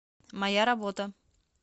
моя работа